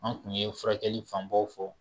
An tun ye furakɛli fanbaw fɔ